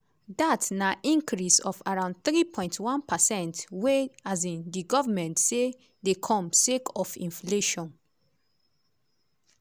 dat na increase of around 3.1 percent wey um di govment say dey come sake of inflation.